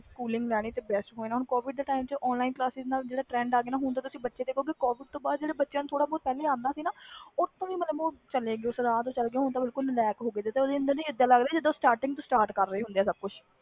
Covid ਕਰਕੇ ਜਿਹੜਾ system ਆ ਗਿਆ ਹੁੰਦੇ ਤੁਸੀ ਬੱਚੇ ਦੇਖੋ ਗਏ ਕੋਵਿਡ ਤੋਂ ਪਹਲੇ ਜਿਹੜੇ ਬੱਚੇ ਨੂੰ ਆਂਦਾ ਸੀ ਸੀ ਕੁਛ ਉਹ ਉਹ ਵੀ ਨਹੀਂ ਆਂਦਾ ਹੁਣ ਤੇ ਬਿਲਕੁਲ ਨਾਲੇਕ ਹੋ ਗਏ